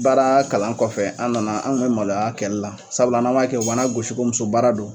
baaraa kalan kɔfɛ an nana, an ŋun mɛ maloy'a kɛ la sabula n'an b'a kɛ u b'an nagosi ko muso baara don.